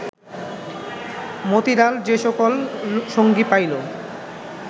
মতিলাল যে সকল সঙ্গী পাইল